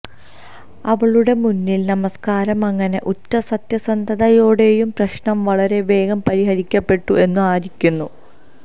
അവളുടെ മുന്നിൽ നമസ്കാരം അങ്ങനെ ഉറ്റ സത്യസന്ധതയോടെയും പ്രശ്നം വളരെ വേഗം പരിഹരിക്കപ്പെട്ടു എന്നു ആയിരുന്നു